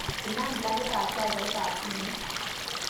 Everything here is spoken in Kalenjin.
Inam plakitab chajaitab simet